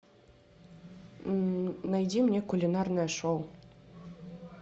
найди мне кулинарное шоу